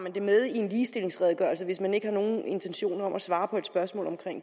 det med i en ligestillingsredegørelse hvis man ikke har nogen intentioner om at svare på et spørgsmål om